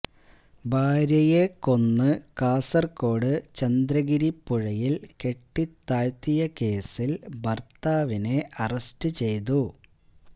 ഭാര്യയെ കൊന്ന് കാസർകോട് ചന്ദ്രഗിരി പുഴയിൽ കെട്ടിത്താഴ്ത്തിയ കേസിൽ ഭർത്താവിനെ അറസ്റ്റ് ചെയ്തു